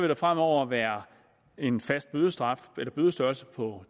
der fremover være en fast bødestørrelse på